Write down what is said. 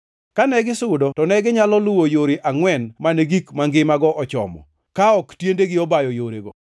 Kane gisudo to neginyalo luwo yore angʼwen mane gik mangimago ochomo, ka ok tiendegi obayo yorego.